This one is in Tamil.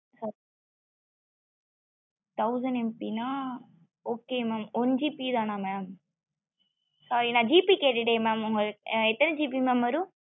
thousand MB னா okay mam one GB தான mam sorry நான் GB கேட்டுட்டே mam எத்தன GB mam வரும்